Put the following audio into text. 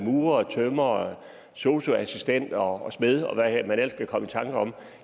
murere tømrere sosu assistenter og smede og hvem man ellers kan komme i tanker om